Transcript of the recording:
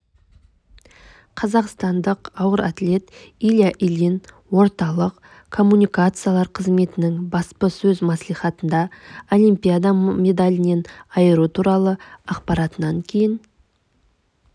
қазақстандық ауыр атлет илья ильин орталық коммуникациялар қызметінің баспасөз маслихатында олимпиада медалінен айыру туралы ақпаратынан кейін